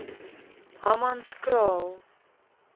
hammanskraal